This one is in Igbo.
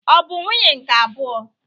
Ọ bụ nwunye nke abụọ?